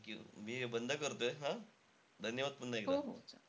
Thank you मी हे बंद करतोय हं. धन्यवाद पुन्हा एकदा.